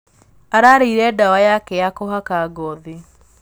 Ararīire ndawa yake ya kūhaka ngothi